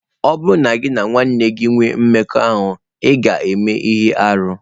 Ọ bụrụ na gị na nwanne gị enwee mmekọahụ, ị ​​ga-eme ihe arụ.